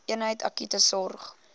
eenheid akute sorg